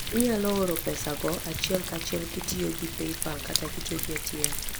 Inyalo oro pesago achiel kachiel kitiyo gi PayPal kata tiyo gi ATM.